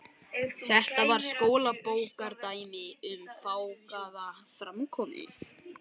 Þetta var skólabókardæmi um fágaða framkomu.